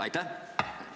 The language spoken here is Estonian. Aitäh!